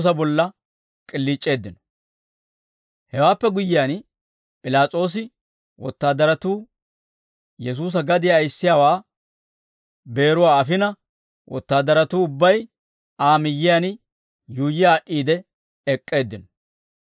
Hewaappe guyyiyaan, P'ilaas'oosa wotaadaratuu Yesuusa gadiyaa ayissiyaawaa beeruwaa afina, wotaadaratuu ubbay Aa miyyiyaan yuuyyi aad'd'iide ek'k'eeddino.